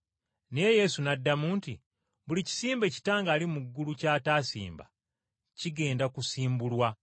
Naye Yesu n’addamu nti, “Buli kisimbe Kitange ali mu ggulu ky’ataasimba kigenda kusimbulwa.